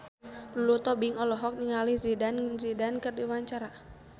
Lulu Tobing olohok ningali Zidane Zidane keur diwawancara